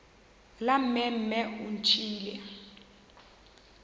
la mme mme o ntšhiile